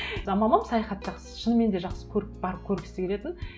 а мамам саяхат жақсы шынымен де жақсы көріп барып көргісі келетін